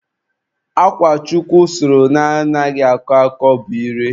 Akwa Chukwu sụrụ na-anaghị akọ akọ bụ ire.